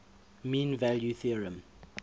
mean value theorem